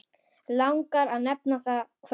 Langar að nefna það kvöld.